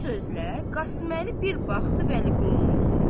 Bu sözlə, Qasım Əli bir baxdı Vəliqulunun üzünə.